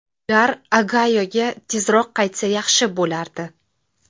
Ular Ogayoga tezroq qaytsa yaxshi bo‘lardi.